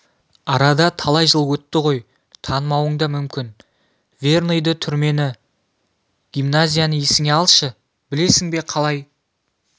арада талай жыл өтті ғой танымауың да мүмкін верныйды түрмені гимназияны есіңе алшы білесің бе қалай